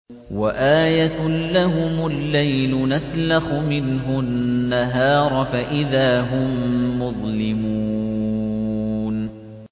وَآيَةٌ لَّهُمُ اللَّيْلُ نَسْلَخُ مِنْهُ النَّهَارَ فَإِذَا هُم مُّظْلِمُونَ